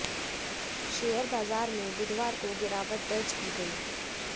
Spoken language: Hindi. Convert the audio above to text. शेयर बाजार में बुधवार को गिरावट दर्ज की गई